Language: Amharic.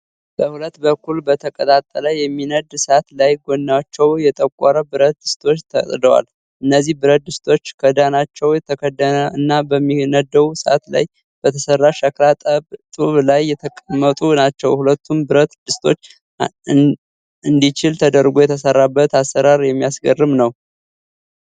በሁለት በኩል በተቀጣጠለ የሚነድ እሳት ላይ ጎናቸው የጠቆረ ብረት ድስቶች ተጥደዋል። እነዚህ ብረት ድስቶች ክዳናቸው የተከደነ እና በሚነደው እሳት ላይ በተሰራ ሸክላ ጡብ ላይ የተቀመጡ ናቸው። ሁለቱንም ብረት ድስቶች እንዲችል ተደርጎ የተሰራበት አሰራር የሚያስገርም ነው።